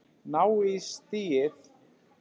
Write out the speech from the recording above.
Ná í stigið.